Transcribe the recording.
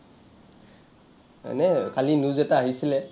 এনেই কালি news এটা আহিছিলে যে আলফাই